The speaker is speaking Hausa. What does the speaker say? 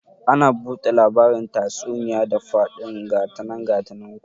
Ana bude labarin tatsuniya da fadin gatanan gatanan ku